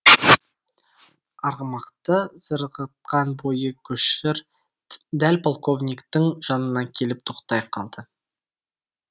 арғымақты зырғытқан бойы көшір дәл полковниктің жанына келіп тоқтай қалды